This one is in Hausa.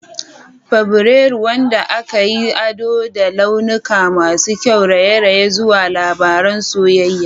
Fabrairu, wanda aka yi ado da launuka masu kyau, raye-rayen zuwa labaran soyayya.